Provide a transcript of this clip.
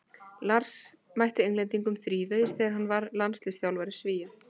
Lars mætti Englendingum þrívegis þegar hann var landsliðsþjálfari Svía.